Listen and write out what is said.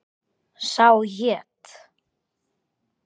Sá hét